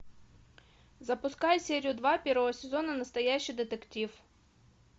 запускай серию два первого сезона настоящий детектив